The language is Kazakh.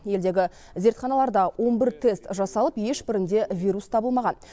елдегі зертханаларда он бір тест жасалып ешбірінде вирус табылмаған